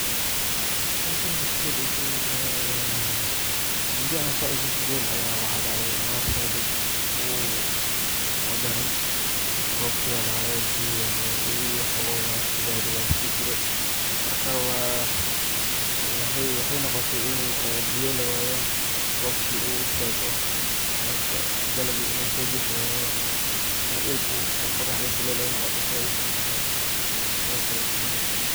Howshan waxaay isku badashay muda oo sidhaas usii fogeen ayaa awaar sait udaran dacday, biya ayaa lawaaye, marka waxaay noqote in biya lawaayo, roobki uu istaago, marka dalagi uuso bixi wayo in dulka qoraxda sait aay noqoto sidhaas ayeey isku badashay.